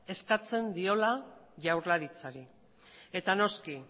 eskatzen diola jaurlaritzari eta noski